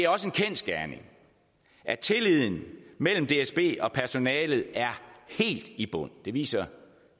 også en kendsgerning at tilliden mellem dsb og personalet er helt i bund det viser